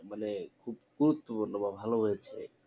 মানে খুব গুরুত্ব পূর্ণ বা ভালো হয়েছে